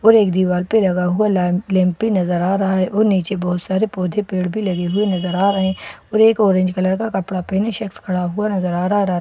और एक दीवार पे लगा हुआ लैंप लैंप पे नज़र आ रहा है और नीचे बहुत सारे पौधे पेड़ भी लगे हुए नज़र आ रहे हैं और एक ऑरेंज कलर का कपड़ा पहने शख़्स खड़ा हुआ नजर आ र --